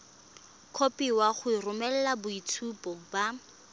kopiwa go romela boitshupo ba